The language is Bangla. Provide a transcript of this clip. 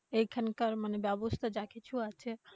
এখানকার ব্যবস্থা মানে যা কিছু আছে